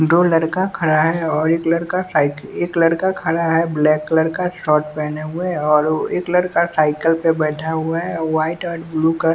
दो लड़का खड़ा है और एक लड़का साइक एक लड़का खड़ा है ब्लैक कलर का शॉर्ट पहने हुए है और एक लड़का साइकिल पर बैठा हुआ है व्हाईट और ब्लू कलर --